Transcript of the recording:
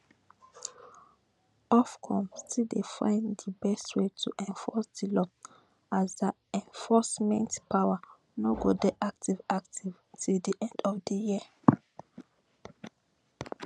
ofcom still dey find di best way to enforce di law as dia enforcement power no go dey active active till di end of di year